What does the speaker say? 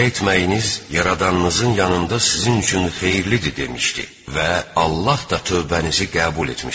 Belə etməyiniz Yaradanınızın yanında sizin üçün xeyirlidir", demişdi və Allah da tövbənizi qəbul etmişdi.